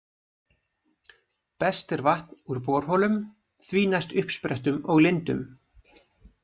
Best er vatn úr borholum, því næst uppsprettum og lindum.